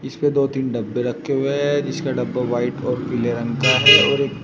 इस पे दो तीन डब्बे रखे हुए हैं जिसका डब्बा व्हाइट और पीले रंग का है और एक।